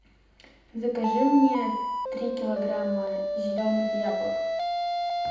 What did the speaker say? закажи мне три килограмма зеленых яблок